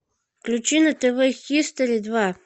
включи на тв хистори два